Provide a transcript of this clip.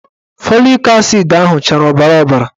Fọlik asid ahụ chara ọbara ọbara